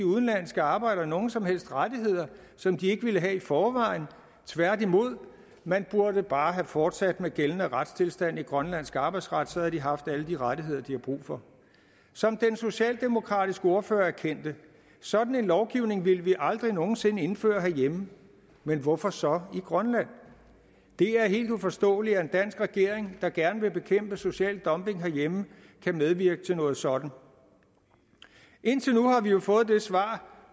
udenlandske arbejdere nogen som helst rettigheder som de ikke ville have i forvejen tværtimod man burde bare have fortsat med gældende retstilstand i grønlandsk arbejdsret så havde de haft alle de rettigheder de har brug for som den socialdemokratiske ordfører erkendte sådan en lovgivning ville vi aldrig nogen sinde indføre herhjemme men hvorfor så i grønland det er helt uforståeligt at en dansk regering der gerne vil bekæmpe social dumping herhjemme kan medvirke til noget sådant indtil nu har vi jo fået det svar